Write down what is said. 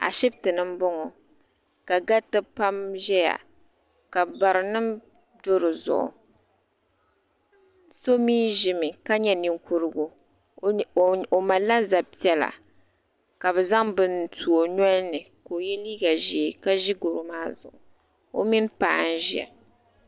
Ashiptini m boŋɔ ka gariti pam ʒɛya ka barinima do dizuɣu so mee ʒimi ka nyɛ ninkurigu o malila zab'piɛlla ka bɛ zaŋ bini n tu o nolini ka o ye liiga ʒee ka ʒi goro maa zuɣu o mini mini paɣa n ʒia.